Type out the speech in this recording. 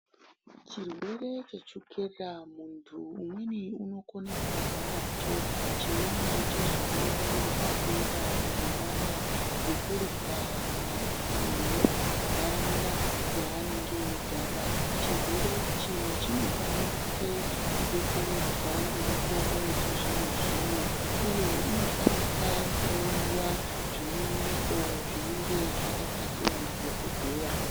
Chirwere chechukera mundu mumweni anogona kebarwa nacho , chimweni chozouya nepadera nenyaya yekurya kana kuti yenharaunda yaanenge eigara . Chirwere ichi chinokwanise kubetseredzwa ngemitombo yechizvino-zvino , uye inofanika kunwiwa zvine mwero zvinenge zvakapasiwa nadhokotera.